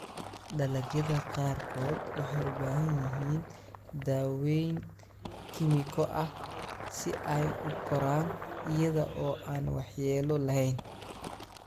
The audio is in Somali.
Dalagyada qaarkood waxay u baahan yihiin daaweyn kiimiko ah si ay u koraan iyada oo aan waxyeello lahayn.